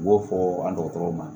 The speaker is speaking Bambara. U b'o fɔ an dɔgɔtɔrɔw ma